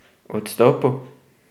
Odstopu?